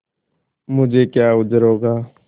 मुझे क्या उज्र होगा